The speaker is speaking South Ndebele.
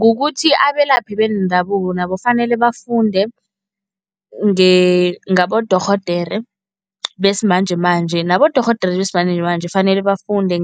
Kukuthi abelaphi bendabuko nabo fanele bafunde ngabodorhodere besimanjemanje, nabodorhodere besimanjemanje fanele bafunde